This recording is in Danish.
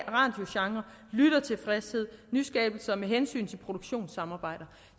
radiogenren lyttertilfredshed nyskabelser med hensyn til produktionssamarbejder